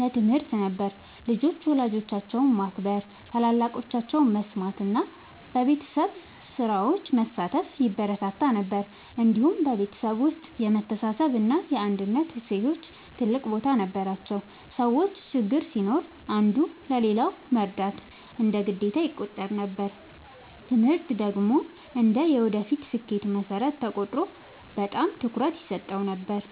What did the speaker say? ለትምህርት ነበር። ልጆች ወላጆቻቸውን ማክበር፣ ታላላቆቻቸውን መስማት እና በቤተሰብ ስራዎች መሳተፍ ይበረታታ ነበር። እንዲሁም በቤተሰብ ውስጥ የመተሳሰብ እና የአንድነት እሴቶች ትልቅ ቦታ ነበራቸው። ሰዎች ችግር ሲኖር አንዱ ለሌላው መርዳት እንደ ግዴታ ይቆጠር ነበር። ትምህርት ደግሞ እንደ የወደፊት ስኬት መሠረት ተቆጥሮ በጣም ትኩረት ይሰጠው ነበር።